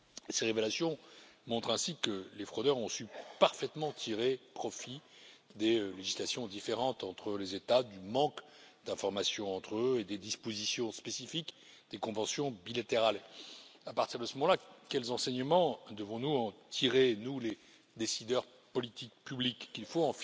Ces révélations montrent ainsi que les fraudeurs ont su parfaitement tirer profit des législations qui diffèrent entre les États, du manque d'information entre eux et des dispositions spécifiques des conventions bilatérales. À partir de ce moment là, les enseignements que nous devons en tirer, nous les décideurs politiques publics, c'est qu'il faut